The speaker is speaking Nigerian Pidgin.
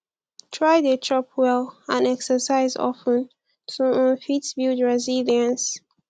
try de chop well and exercise of ten to um fit build resilience